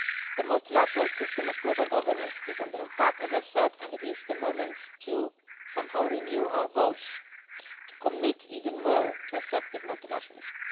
The multilateral system of global governance is under attack, as I said, and it is the moment to somehow renew our vows, to commit even more to effective multilateralism.